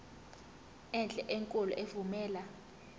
enhle enkulu evumela